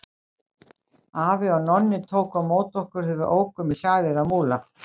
Afi og Nonni tóku á móti okkur þegar við ókum í hlaðið á Múla.